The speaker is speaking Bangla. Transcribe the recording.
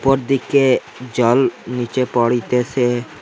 উপর দিকে জল নিচে পরিতেসে।